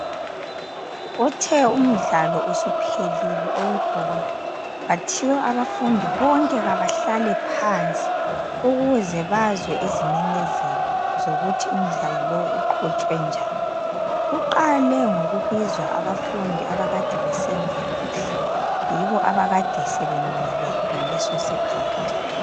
Uthe umdlalo usuphelile owebhola, kwathiwa abafundi bonke kabahlale phansi ukuze bazwe izimemezelo zokuthi umdlalo lowu uqhutshwe njani. Kuqale ngokubizwa abafundi abakade besenza kuhle, yibo abakade sebemile ngaleso sikhathi.